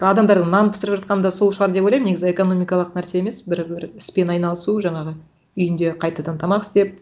адамдардың нан пісіріп жатқаны да сол шығар деп ойлаймын негізі экономикалық нәрсе емес бір бір іспен айналысу жаңағы үйінде қайтадан тамақ істеп